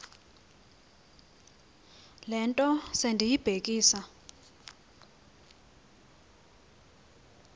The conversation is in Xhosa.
le nto sendiyibhekisa